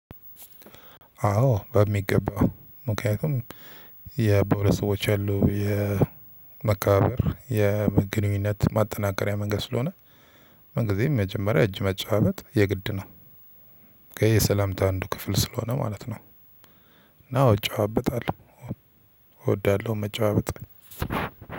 አዎ በሚገባው ምክንያቱም በሁለት ሰዎች ያሉ የመከባበር የግንኙነት ማጠናከሪያ መንገድ ስለሆነ። ምንግዜም መጀመሪያ እጅ መጨባበጥ የግድ ነው። ከየሰላምታ አንዱ ክፍል ስለሆነ ማለት ነው። እና እጨባበጣለሁ እወዳለሁ። መጨባበጥ